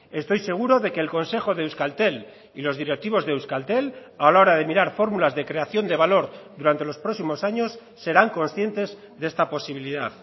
estoy seguro de que el consejo de euskaltel y los directivos de euskaltel a la hora de mirar fórmulas de creación de valor durante los próximos años serán conscientes de esta posibilidad